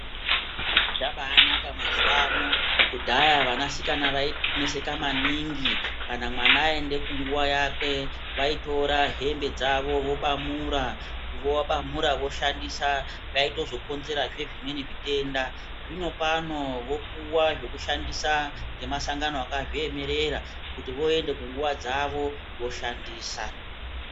Zvabanaka mazuwa ano kudhaya vanasikana vaineseka maningi kana mwana aenda kunguwa yake vaitora hembe dzake vobamura vabamura voshandisa zvaitozokonzerazve zvimweni zvitenda zvinopano vopuwa zvekushandisa nemasangano akazviemerera kuti voenda kunguwa dzavo voshandisa.